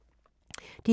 DR1